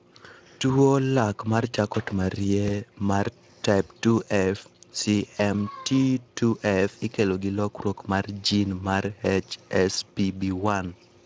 Tuwo lak mar Charcot Marie mar type 2F (CMT2F) ikelo gi lokruok mar gene mar HSPB1.